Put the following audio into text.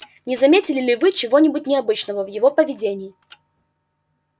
не заметили ли вы чего-нибудь необычного в его поведении